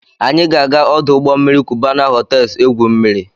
Anyị ga-aga ọdọ mmiri Cubana hotels egwu mmiri.